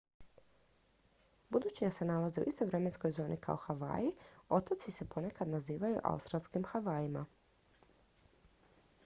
budući da se nalaze u istoj vremenskoj zoni kao havaji otoci se ponekad nazivaju autstralskim havajima